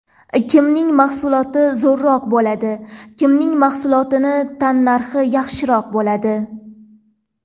Kimning mahsuloti zo‘rroq bo‘ladi, kimning mahsulotining tannarxi yaxshiroq bo‘ladi?